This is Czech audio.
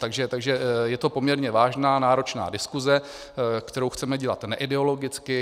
Takže je to poměrně vážná náročná diskuse, kterou chceme dělat neideologicky.